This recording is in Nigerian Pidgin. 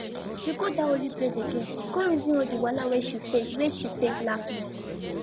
she go that holy place again go reason all the wahala wey she face wey she face last month